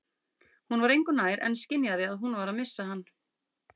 Hún var engu nær en skynjaði að hún var að missa hann.